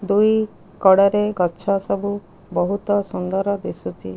ଦୁଇ କଡ଼ରେ ଗଛ ସବୁ ବହୁତ ସୁନ୍ଦର ଦିସୁଚି।